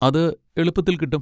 അത് എളുപ്പത്തിൽ കിട്ടും.